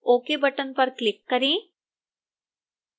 ok button पर click करें